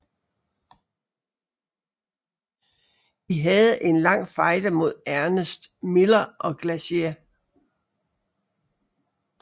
De havde en lang fejde mod Ernest Miller og Glacier